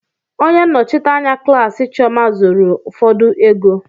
onye nnọchite anya klaasị chioma zuru ụfọdụ ego.